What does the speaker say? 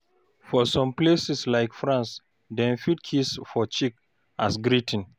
For some places like France, dem fit kiss for cheek as greeting